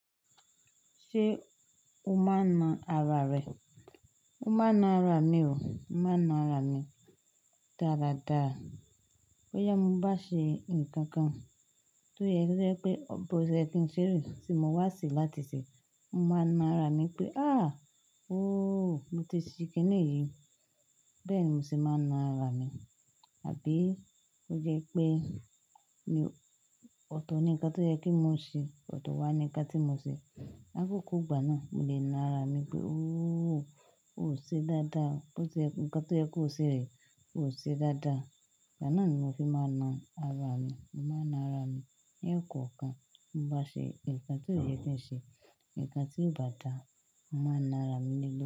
Ṣé o máa nan ara rẹ? Mo máa na ara mi o. Mo máa na ara mi dáradára. Bó yá mo bá ṣe nǹkan kan tó yẹ kí ń ṣe rè, sì mo wá sì láti ṣe, mo máa na ara mi pé "a! Óo, mo ti ṣe kíni yí." Bẹ́ẹ̀ ni mo ti máa na ara mi. Àbí ó jẹ́ pé ọ̀tọ̀ ni nǹkan tó yẹ kí mo ṣe, ọ̀tọ̀ wá ni nǹkan tí mo ṣe. Lá kókó ìgbà náà, mo lè na ara mi pé "óò, o ò ṣe dáadáa. Nǹkan tó yẹ kó ṣe rè, o ò ṣe dáadáa." Ìgbà náà ni mo fi máa ń na ara mi. Mo máa na ara mi lẹ́ẹ̀kan kan. Mo bá ṣe nǹkan tió yẹ kí n ṣe, nǹkan tí ó bá dáa, mo máa na ara mi ní.